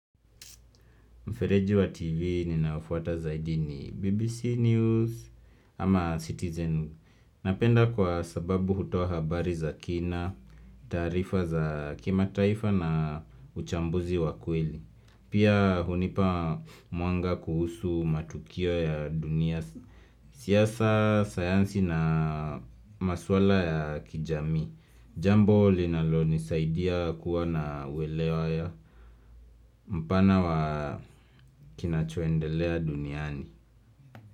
Mfereji wa TV ni naafuata zaidi ni BBC News ama Citizen Napenda kwa sababu hutoa habari za kina, tarifa za kimataifa na uchambuzi wa kweli Pia hunipa mwanga kuhusu matukio ya dunia siasa, sayansi na maswala ya kijami Jambo linalo nisaidia kuwa na uwelewa ya mpana wa kinachoendelea duniani.